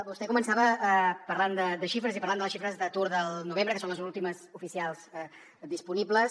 vostè començava parlant de xifres i parlant de les xifres d’atur del novembre que són les últimes oficials disponibles